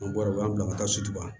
An bɔra u b'an bila ka taa sutura